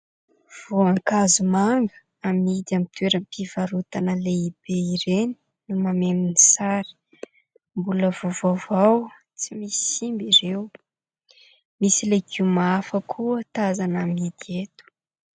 Voan-kazo manga amidy amin'ny toeram-pivarotana lehibe ireny no mameno ny sary. Mbola vaovaovao tsy misy simba ireo. Misy legioma hafa koa tazana amidy eto.